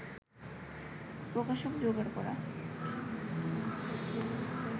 প্রকাশক জোগাড় করা